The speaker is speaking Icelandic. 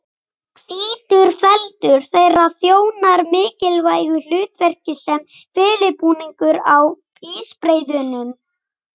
Hvítur feldur þeirra þjónar mikilvægu hlutverki sem felubúningur á ísbreiðunum.